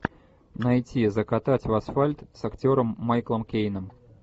найти закатать в асфальт с актером майклом кейном